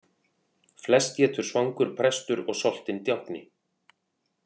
Flest étur svangur prestur og soltinn djákni.